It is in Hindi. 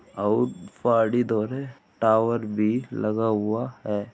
और पाड़ी धो रहे टावर भी लगा हुआ है।